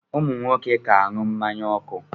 Ụmụ nwoke ka aṅụ mmanya ọkụ.